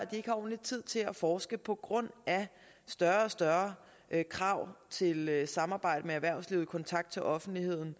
ikke ordentlig tid til at forske på grund af større og større krav til samarbejdet med erhvervslivet og kontakt til offentligheden